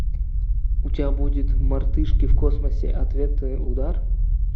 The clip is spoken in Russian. у тебя будет мартышки в космосе ответный удар